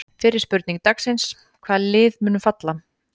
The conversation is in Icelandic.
Fyrri spurning dagsins: Hvaða lið munu falla?